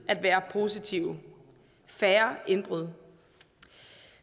positive færre indbrud